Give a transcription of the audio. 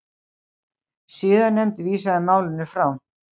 Siðanefnd vísaði málinu frá